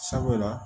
Sabula